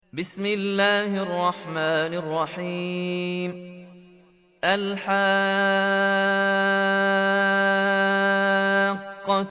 الْحَاقَّةُ